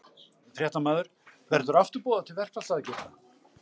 Fréttamaður: Verður aftur boðað til verkfallsaðgerða?